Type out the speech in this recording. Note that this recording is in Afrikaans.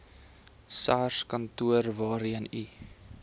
sarskantoor waarheen u